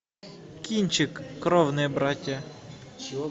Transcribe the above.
кинчик кровные братья